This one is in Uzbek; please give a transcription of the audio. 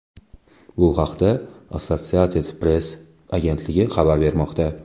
Bu haqda Associated Press agentligi xabar bermoqda.